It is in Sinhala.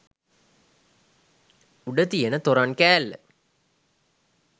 උඩ තියෙන තොරන් කෑල්ල